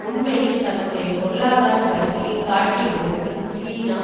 உண்மையில் தன்னுடைய பொருளாதார வலிமையை காட்டிய விதத்தில் சீனா